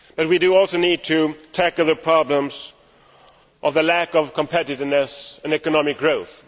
We also need to tackle the problems of the lack of competitiveness and economic growth.